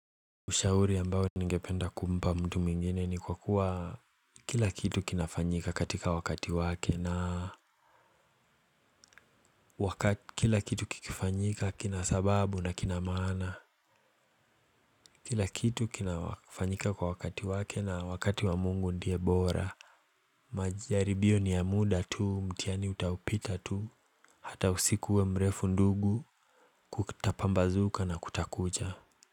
Ushauri ambao ningependa kumpa mtu mwingine ni kwa kuwa Kila kitu kinafanyika katika wakati wake na waka kila kitu kikifanyika kina sababu na kina maana. Kila kitu kinafanyika kwa wakati wake na wakati wa Mungu ndie bora majaribio ni ya muda tu, mtihani utaupita tu Hata usikuwe mrefu ndugu kutapambazuka na kutakucha.